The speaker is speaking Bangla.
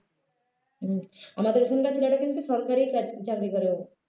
হম আমাদের এখানকার ছেলেটা কিন্তু সরকারিই কাজ চাকরি করে ও